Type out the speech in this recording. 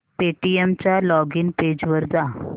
Paytm च्या login page वर जा